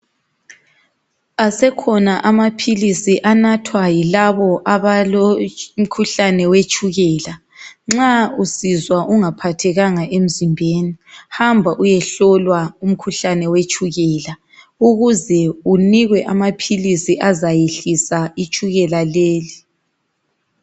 Asekhona amaphilisi anathwa yilabo abalomkhuuhlane wetshukela nxa usizwa ungaphathekanga emzimbeni hamba uyehlolwa umkhuhlane wetshukela ukuze unikwe amaphilisi azayehlisa itshukela leli.